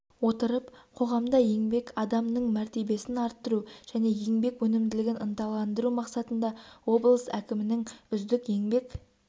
отырып қоғамда еңбек адамының мәртебесін арттыру және еңбек өнімділігін ынталандыру мақсатында облыс әкімінің үздік еңбек